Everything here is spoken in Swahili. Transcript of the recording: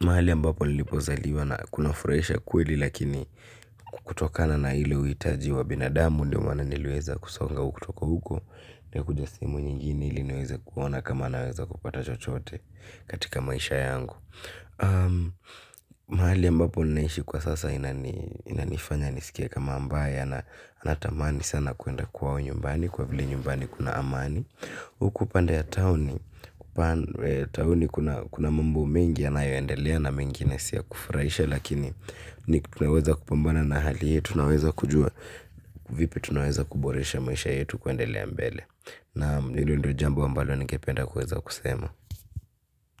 Mahali ambapo nilipozaliwa kunafurahisha kweli, lakini kutokana na ile uhitaji wa binadamu, ndo maana niliweza kusonga huku kutoka huko, na kuja sehemu nyingine ili niwezekuona kama naweza kupata chochote, katika maisha yangu. Mahali ambapo ninaishi kwa sasa inanifanya nisikie kama ambaye ana tamani sana kuenda kwao nyumbani kwa vile nyumbani kuna amani. Huku pande ya tauni, tauni kuna mambo mingi yanayo endelea na mengine si ya kufurahisha, lakini, ni tunaweza kupambana na hali yetu, tunaweza kujua, vipi tunaweza kuboresha maisha yetu kuendelea mbele? Naam, hilo ndio jambo ambalo ningependa kuweza kusema.